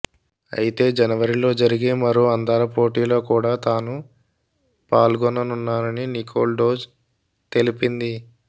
అయితే జనవరిలో జరిగే మరో అందాలపోటీలో కూడా తాను పాల్గొననున్నానని నికోల్ డోజ్ తెలిపింది